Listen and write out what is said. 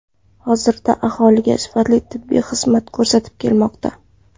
Hozirda aholiga sifatli tibbiy xizmatlar ko‘rsatib kelmoqda.